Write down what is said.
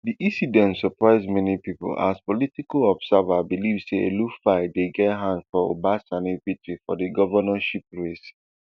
di incident surprise many pipo as political observers believe say elrufai dey get hand for uba sani victory for di governorship race